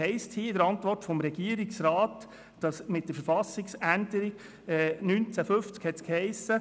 In der Antwort des Regierungsrats heisst es: Mit der Verfassungsänderung 1950 habe es geheissen,